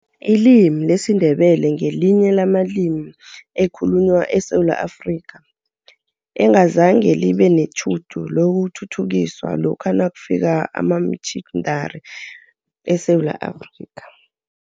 Ilimi lesiNdebele ngelinye lamalimi ekhulunywa eSewula Afrika, engazange libe netjhudu lokuthuthukiswa lokha nakufika amamitjhinari eSewula Afrika.